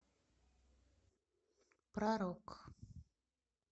про рок